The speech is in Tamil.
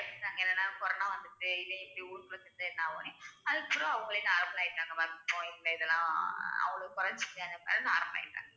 அதுக்கப்புறம் அவங்களே normal ஆயிட்டாங்க normal ஆயிட்டாங்க